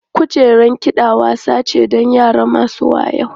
Kujerar kiɗa wasa ce don yara masu wayau.